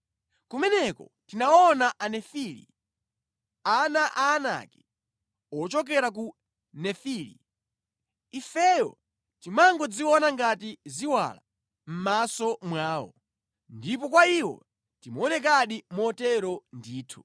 Kumeneko tinaona Anefili (ana a Aanaki ochokera kwa Nefili). Ifeyo timangodziona ngati ziwala mʼmaso mwawo, ndipo kwa iwo timaonekadi motero ndithu.”